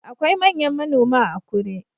Akwai manyan manoma a Akure